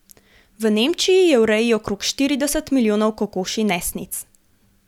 V Nemčiji je v reji okrog štirideset milijonov kokoši nesnic.